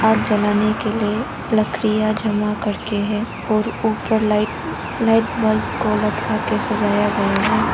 आग जलाने के लिए लकड़ियां जमा करके है और ऊपर लाइट लाईट बल्ब को लटका के सजाया गया है।